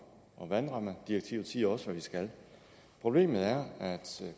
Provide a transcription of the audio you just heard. og vandrammedirektivet siger også hvad vi skal problemet er at